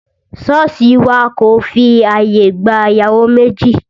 Sọ́ọ̀sì wà kò fi ààyè gba ìyàwó méjì